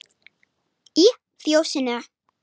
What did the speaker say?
Í Fjósinu